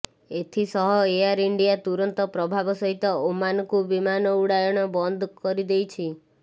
ଏଥିସହ Air India ତୁରନ୍ତ ପ୍ରଭାବ ସହିତ ଓମାନକୁ ବିମାନ ଉଡ଼ାଣ ବନ୍ଦ କରି ଦେଇଛି